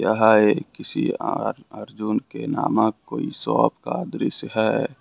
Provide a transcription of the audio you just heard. यह एक किसी आर अर्जुन के नामक कोई शॉप का दृश्य है।